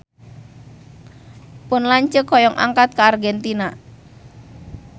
Pun lanceuk hoyong angkat ka Argentina